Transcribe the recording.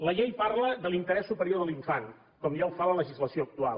la llei parla de l’interès superior de l’infant com ja ho fa la legislació actual